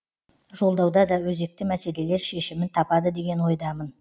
жолдауда да өзекті мәселелер шешімін табады деген ойдамын